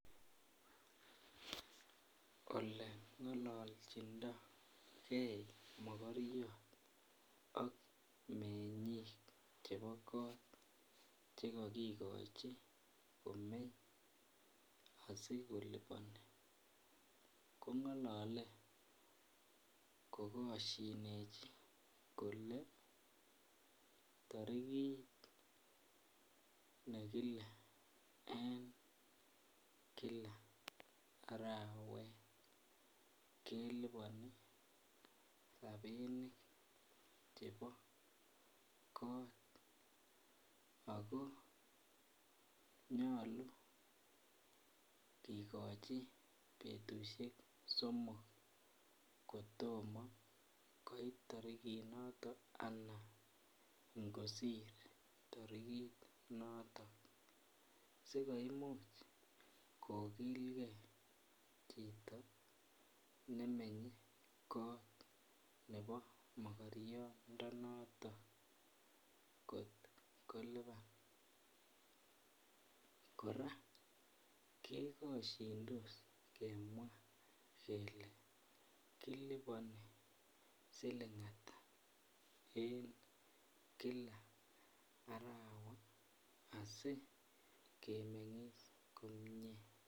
Ole ngololchindoi ge mogoriot ak mengik chebo kot Che kogikochi kot komeny asi kolipani ko ngolole ko kosyinechi kole tarikit nekile en kila arawet kelipani rabinik chebo kot ago nyolu kigochi betusiek somok kotomo koit tarikinato anan angosir tarikit noton asi komuch kogilgei chito nemenye kot nebo mokoriondonoto kot kolipan kora kegosyindos kemwaa kele kilipani siling Ata en kila arawa asi kemengis komie